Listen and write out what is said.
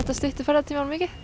stytti ferðatímann mikið